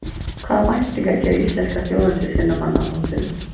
Hvaða væntingar gerir ítalska þjóðin til sinna manna á mótinu?